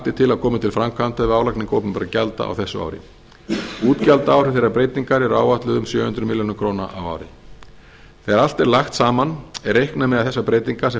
er til að komi til framkvæmda við álagningu opinberra gjalda á þessu ári útgjaldaáhrif þeirrar breytingar er áætluð um sjö hundruð milli krónur á ári þegar allt er lagt saman er reiknað með að þessar breytingar sem